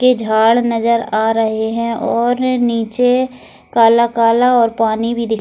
के झाड़ नजर आ रहे हैं और नीचे काला-काला और पानी भी दि --